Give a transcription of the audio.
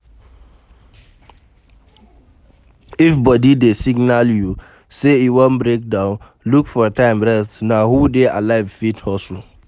If body dey signal you sey e wan break down, look for time rest na who dey alive fit hustle